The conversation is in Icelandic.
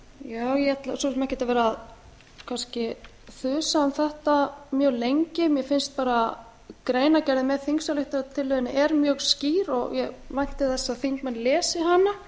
ég ætla svo sem ekkert að vera kannski að þess um þetta mjög lengi mér finnst bara greinargerðin með þingsályktunartillögunni er mjög skýr og ég vænti þess að þingmenn lesi